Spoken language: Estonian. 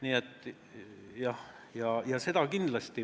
Nii et jah, seda kindlasti.